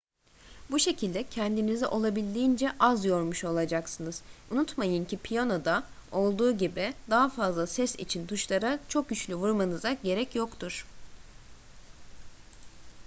bu şekilde kendinizi olabildiğince az yormuş olacaksınız unutmayın ki piyanoda olduğu gibi daha fazla ses için tuşlara çok güçlü vurmanıza gerek yoktur